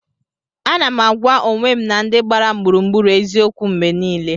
Ana m agwa onwe m na ndị gbara m gburugburu eziokwu mgbe niile.